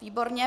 Výborně.